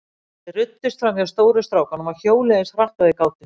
Þeir ruddust fram hjá stóru strákunum og hjóluðu eins hratt og þeir gátu.